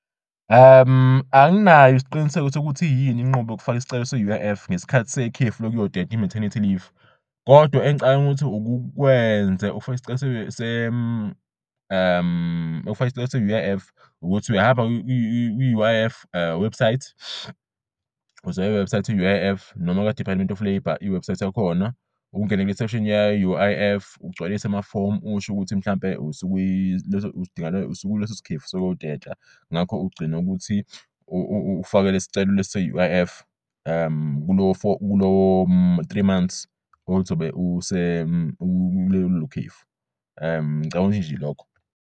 Anginayo isiqiniseko sokuthi yini inqubo yokufak'isicelo se-U_I_F ngesikhathi sekhefu lokuyoteta i-maternity leave. Kodwa engicabang'ukuthi ukukwenze ukufaka isicelo se-U_I_F ukuthi uyahamba kwi-U_I_F website, uzoya e-website ye-U_I_F noma kwa-Department of Labour. I-website yakhona ungene ye-U_I_F ugcwalise amafomu ush'ukuthi mhlampe usukuleso sikhefu sokuyoteta. Ngakho ugcin'ukuthi ufake lescelo lesi se-U_I_F kulo-three months ozobe ube kulelo khefu ngicabanga nje ilokho.